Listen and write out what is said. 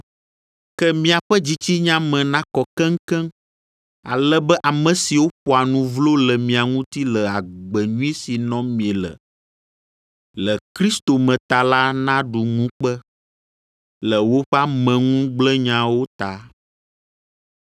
Ke miaƒe dzitsinya me nakɔ keŋkeŋ, ale be ame siwo ƒoa nu vlo le mia ŋuti le agbe nyui si nɔm miele le Kristo me ta la naɖu ŋukpe le woƒe ameŋugblẽnyawo ta.